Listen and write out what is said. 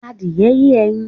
Adìẹ ye ẹyin